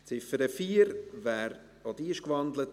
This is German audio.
Auch die Ziffer 4 ist gewandelt.